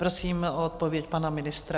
Prosím o odpověď pana ministra.